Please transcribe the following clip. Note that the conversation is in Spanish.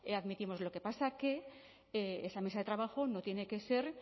admitimos lo que pasa que esa mesa de trabajo no tiene que ser